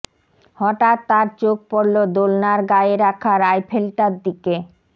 হাঠাৎ তার চোখ পড়লো দোলনার গায়ে রাখা রাইফেলটার দিকে